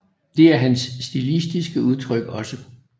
Det er hans stilistiske udtryk også